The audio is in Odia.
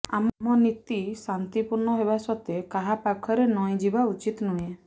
ଆମ ନୀତି ଶାନ୍ତିପୂର୍ଣ୍ଣ ହେବା ସତ୍ତ୍ୱେ କାହା ପାଖରେ ନଇଁଯିବା ଉଚିତ୍ ନୁହେଁ